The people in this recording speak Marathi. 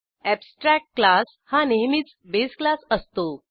अॅबस्ट्रॅक्ट क्लास हा नेहमीच बेस क्लास असतो